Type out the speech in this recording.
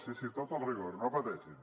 sí sí tot el rigor no pateixin